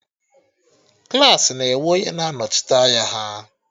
Klassị na enwe onye na-anọchite anya ha